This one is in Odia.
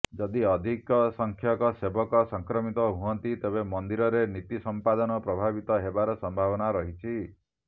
ଯଦି ଅଧିକ ସଂଖ୍ୟକ ସେବକ ସଂକ୍ରମିତ ହୁଅନ୍ତି ତେବେ ମନ୍ଦିରରେ ନୀତି ସଂପାଦନ ପ୍ରଭାବିତ ହେବାର ସମ୍ଭାବନା ରହିଛି